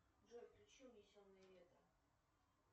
джой включи унесенные ветром